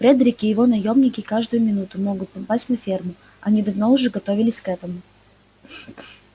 фредерик и его наёмники каждую минуту могут напасть на ферму они давно уже готовились к этому